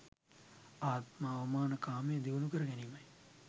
ආත්ම අවමාන කාමය දියුණුකර ගැනීමයි.